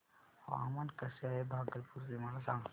हवामान कसे आहे भागलपुर चे मला सांगा